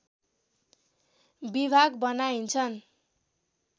विभाग बनाइन्छन्